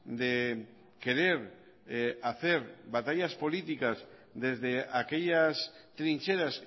de querer hacer batallas políticas desde aquellas trincheras